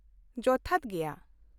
ᱡᱚᱛᱷᱟᱛ ᱜᱮᱭᱟ ᱾